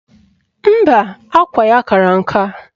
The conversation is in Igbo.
Mba, akwa ya kara nka